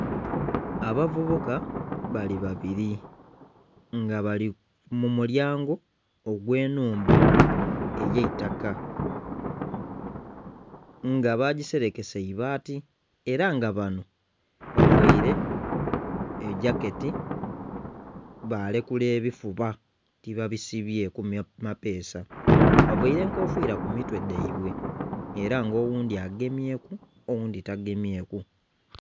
Abavubuka bali babiri nga bali mumulyango ogwe nhumba eyaitaka nga bagiserekesa ibaati era nga bano bavaire egyaketi balekula ebifuba tibabisibyeku mapeesa, bavaire enkofira kumitwe dhaibwe era nga oghundhi agemyeku oghundhi tagemyeku.